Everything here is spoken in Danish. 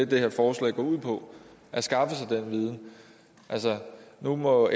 det her forslag går ud på at skaffe sig den viden altså nu må